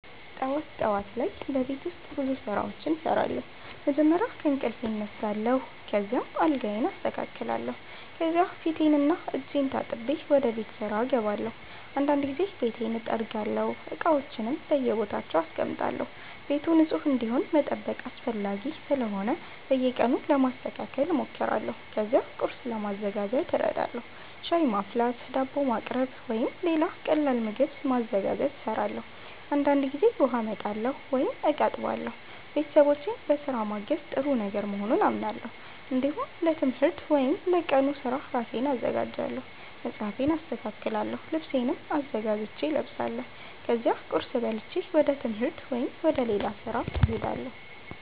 ጠዋት ጠዋት ላይ በቤት ውስጥ ብዙ ስራዎች እሰራለሁ። መጀመሪያ ከእንቅልፌ እነሳለሁ፣ ከዚያም አልጋዬን አስተካክላለሁ። ከዚያ ፊቴንና እጄን ታጥቤ ወደ ቤት ስራ እገባለሁ። አንዳንድ ጊዜ ቤቱን እጠርጋለሁ፣ እቃዎችንም በየቦታቸው አስቀምጣለሁ። ቤቱ ንጹህ እንዲሆን መጠበቅ አስፈላጊ ስለሆነ በየቀኑ ለማስተካከል እሞክራለሁ። ከዚያ ቁርስ ለማዘጋጀት እረዳለሁ። ሻይ ማፍላት፣ ዳቦ ማቅረብ ወይም ሌላ ቀላል ምግብ ማዘጋጀት እሰራለሁ። አንዳንድ ጊዜ ውሃ አመጣለሁ ወይም እቃ አጥባለሁ። ቤተሰቦቼን በስራ ማገዝ ጥሩ ነገር መሆኑን አምናለሁ። እንዲሁም ለትምህርት ወይም ለቀኑ ስራ ራሴን አዘጋጃለሁ። መጽሐፌን አስተካክላለሁ፣ ልብሴንም አዘጋጅቼ እለብሳለሁ። ከዚያ ቁርስ በልቼ ወደ ትምህርት ወይም ወደ ሌላ ስራ እሄዳለሁ።